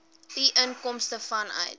u inkomste vanuit